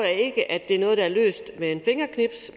at det er noget der er løst